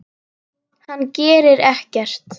Hann gerir ekkert.